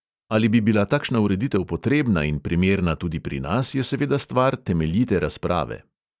Ali bi bila takšna ureditev potrebna in primerna tudi pri nas, je seveda stvar temeljite razprave.